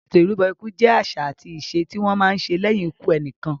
Ètò ìrúbọ ikú jẹ àṣà àti ìṣe tí wọ́n má ń ṣe lẹ́yìn ikú ẹnìkan.